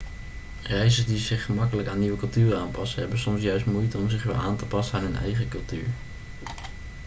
reizigers die zich gemakkelijk aan nieuwe culturen aanpassen hebben soms juist moeite om zich weer aan te passen aan hun eigen cultuur